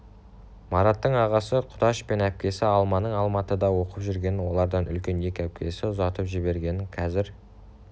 мараттың ағасы құдаш пен әпкесі алманың алматыда оқып жүргенін олардан үлкен екі әпкесін ұзатып жібергенін қазір